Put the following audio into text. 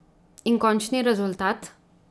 In končni rezultat?